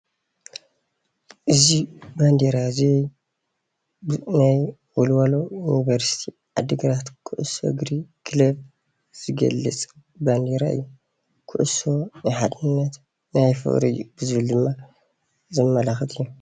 እዚ በንደራ እዚ ንወልዋሎ ዩኒቨርስቲ ዓድግራት ኩዕሶ እግሪ ክለብ ዝገልፅ ባንደራ እዩ፡፡ ኩዕሱ ናይ ሓድነት ናይ ፍቅሪ እዩ ብዝብል ድማ ዘመላክት እዩ፡፡